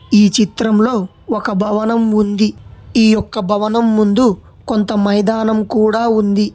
ఈ చిత్రంలో ఒక భవనం ఉంది ఈ యొక్క భవనం ముందు కొంత మైదానం కూడా ఉంది.